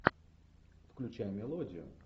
включай мелодию